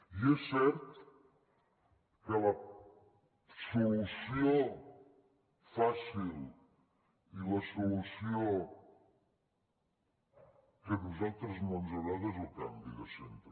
i és cert que la solució fàcil i la solució que a nosaltres no ens agrada és el canvi de centre